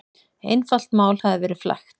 Einfalt mál hafi verið flækt.